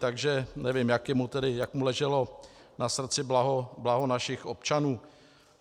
Takže nevím, jak mu leželo na srdci blaho našich občanů.